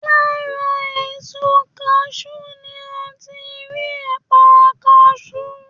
Lára èso kaṣú ni a ti rí ẹ̀pà kaṣú